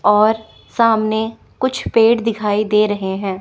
और सामने कुछ पेड़ दिखाई दे रहें हैं।